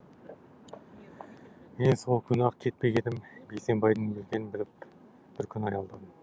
мен сол күні ақ кетпек едім бейсенбайдың өлгенін біліп бір күн аялдадым